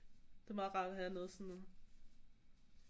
Det er meget rart at have noget sådan